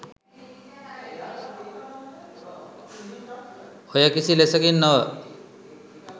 ඔය කිසි ලෙසකින් නොව